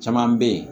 Caman bɛ yen